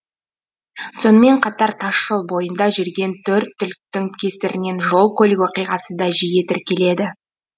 сонымен қатар тасжол бойында жүрген төрт түліктің кесірінен жол көлік оқиғасы да жиі тіркеледі